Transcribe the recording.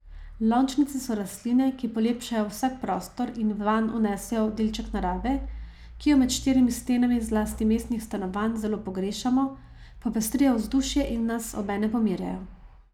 Lončnice so rastline, ki polepšajo vsak prostor in vanj vnesejo delček narave, ki jo med štirimi stenami, zlasti mestnih stanovanj, zelo pogrešamo, popestrijo vzdušje in nas obenem pomirjajo.